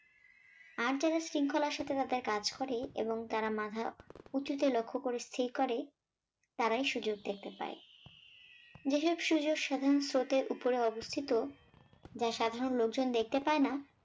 আর যারা শৃঙ্খলার সাথে তাদের কাজ করে এবং তারা মাধা উঁচুতে লক্ষ্য করে স্থির করে তারাই সুযোগ দেখতে পায়। যেসব সুযোগ সাধারণ স্রোতের ওপরে অবস্থিত যা সাধারণ লোকজন দেখতে পায় না